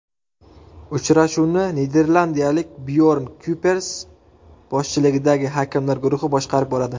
Uchrashuvni niderlandiyalik Byorn Kuypers boshchiligidagi hakamlar guruhi boshqarib boradi.